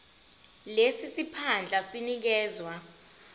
lesi siphandla sinikezwa